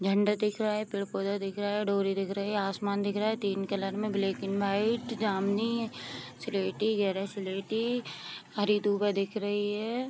झंडा दिख रहा है पेड़-पौधे दिख रहा है डोरी दिख रही है आसमान दिख रहा है तीन कलर में ब्लैक एंड वाइट जमुनी सलेटी गहरा सलेटी हरी दुबा दिख रही है।